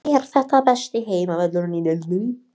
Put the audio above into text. Er þetta besti heimavöllurinn í deildinni?